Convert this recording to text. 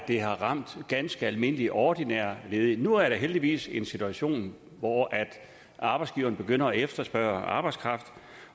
har ramt ganske almindelige ordinære ledige nu er der heldigvis en situation hvor arbejdsgiverne begynder at efterspørge arbejdskraft